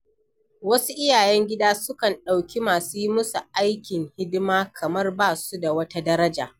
Wasu iyayen gida sukan ɗauki masu yi musu aikin hidima kamar ba su da wata daraja.